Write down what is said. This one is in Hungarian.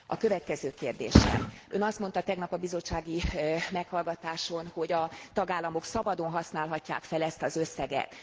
A következő kérdésem Ön azt mondta tegnap a bizottsági meghallgatáson, hogy a tagállamok szabadon használhatják fel ezt az összeget.